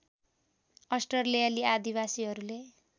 अस्ट्रेलियाली आदिवासीहरूले